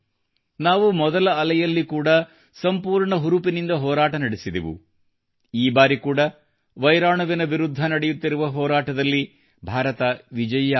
ನಾವು ಮೊದಲ ಅಲೆಯಲ್ಲಿ ಕೂಡಾ ಸಂಪೂರ್ಣ ಹುರುಪಿನಿಂದ ಹೋರಾಟ ನಡೆಸಿದೆವು ಈ ಬಾರಿಕೂಡಾ ವೈರಾಣುವಿನ ವಿರುದ್ಧ ನಡೆಯುತ್ತಿರುವ ಹೋರಾಟದಲ್ಲಿ ಭಾರತ ವಿಜಯಿಯಾಗುತ್ತದೆ